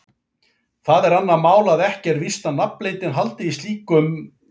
Það er annað mál að ekki er víst að nafnleyndin haldi í öllum slíkum viðskiptum.